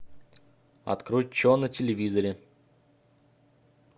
открой че на телевизоре